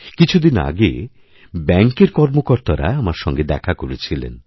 কিছুদিন আগে ব্যাঙ্কের কর্মকর্তারা আমার সঙ্গে দেখা করেছিলেন